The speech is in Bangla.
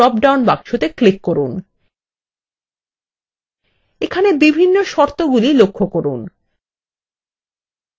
এখানের বিভিন্ন শর্তগুলি লক্ষ্য করুন